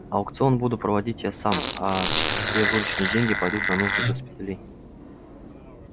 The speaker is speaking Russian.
аукцион буду проводить я сам а все вырученные деньги пойдут на нужды госпиталей